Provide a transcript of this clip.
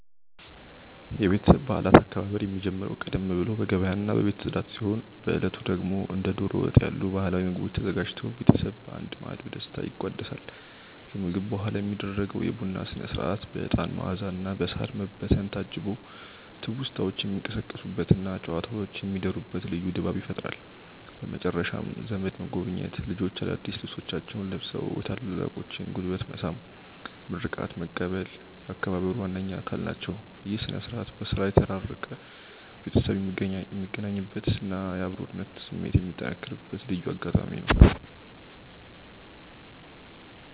የቤተሰብ በዓላት አከባበር የሚጀምረው ቀደም ብሎ በገበያና በቤት ጽዳት ሲሆን፣ በዕለቱ ደግሞ እንደ ደሮ ወጥ ያሉ ባህላዊ ምግቦች ተዘጋጅተው ቤተሰብ በአንድ ማዕድ በደስታ ይቋደሳል። ከምግብ በኋላ የሚደረገው የቡና ሥነ-ሥርዓት በዕጣን መዓዛና በሳር መበተን ታጅቦ ትውስታዎች የሚቀሰቀሱበትና ጨዋታዎች የሚደሩበት ልዩ ድባብ ይፈጥራል። በመጨረሻም ዘመድ መጎብኘት፣ ልጆች አዳዲስ ልብሶቻቸውን ለብሰው የታላላቆችን ጉልበት መሳም እና ምርቃት መቀበል የአከባበሩ ዋነኛ አካል ናቸው። ይህ ሥነ-ሥርዓት በሥራ የተራራቀ ቤተሰብ የሚገናኝበትና የአብሮነት ስሜት የሚጠነክርበት ልዩ አጋጣሚ ነው።